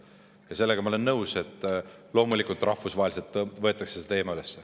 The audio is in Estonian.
Ja sellega ma olen nõus, et loomulikult rahvusvaheliselt võetakse see teema üles.